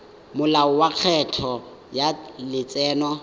molao wa lekgetho wa letseno